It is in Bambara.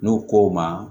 N'u ko ma